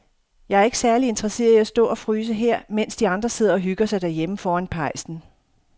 Jeg er ikke særlig interesseret i at stå og fryse her, mens de andre sidder og hygger sig derhjemme foran pejsen.